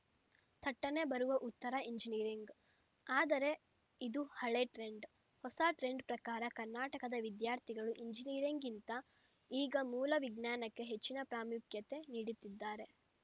ಥಟ್ಟನೇ ಬರುವ ಉತ್ತರ ಎಂಜಿನಿಯರಿಂಗ್‌ ಆದರೆ ಇದು ಹಳೆ ಟ್ರೆಂಡ್‌ ಹೊಸ ಟ್ರೆಂಡ್‌ ಪ್ರಕಾರ ಕರ್ನಾಟಕದ ವಿದ್ಯಾರ್ಥಿಗಳು ಎಂಜಿನಿಯರಿಂಗ್‌ಗಿಂತ ಈಗ ಮೂಲ ವಿಜ್ಞಾನಕ್ಕೆ ಹೆಚ್ಚಿನ ಪ್ರಾಮುಖ್ಯತೆ ನೀಡುತ್ತಿದ್ದಾರೆ